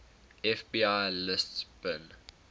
fbi lists bin